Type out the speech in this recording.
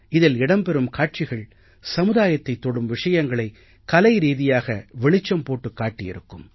இதில் இடம் பெறும் காட்சிகள் சமுதாயத்தைத் தொடும் விஷயங்களை கலைரீதியாக வெளிச்சம் போட்டுக் காட்டியிருக்கும்